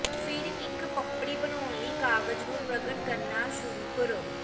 ਫਿਰ ਇੱਕ ਪਪੜੀ ਬਣਾਉਣ ਲਈ ਕਾਗਜ਼ ਨੂੰ ਪ੍ਰਗਟ ਕਰਨਾ ਸ਼ੁਰੂ ਕਰੋ